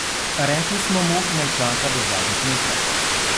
Rekli smo mu, naj čaka do zadnjih metrov.